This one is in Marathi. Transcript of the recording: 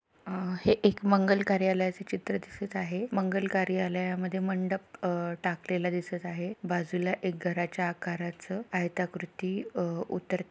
हा एक मंगल कार्यालयच चित्र दिसत आहे. मंगल कार्यालयामध्ये मंडप अ टाकलेल दिसत आहे. बाजूला एक घरच्या आकाराच आयताकृती अ उत्तर--